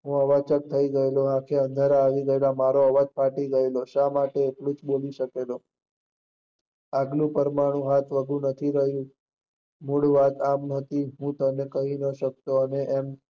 હું આજ અવાજ ચક્ક થઇ ગયો, આંખે અંધારા આવી ગયા, અવાજ ફાટી ગયેલો, શા માટે હું બોલી શકેલો, આગલું પરમાણુ હાથવગું રહીયુ નથી મુકવા તમને કહી શક્યો નહીં.